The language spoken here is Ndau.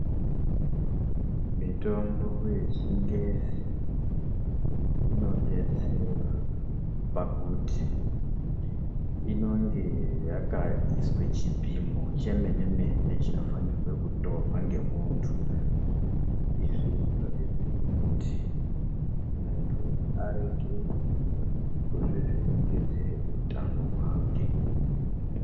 Mitombo yechingezi inodetsera pakuti inenge yakaiswa chipimo chemenemene chinofanirwe kutorwa ngemunhu izvi zvinodetsere kuti muntu arege kuzvivhirigidzire utano hwake.